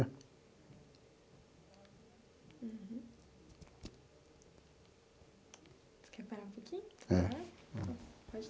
Uhum você quer parar um pouquinho? É. Pode.